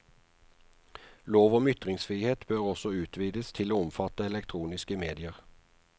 Lov om ytringsfrihet bør også utvides til å omfatte elektroniske medier.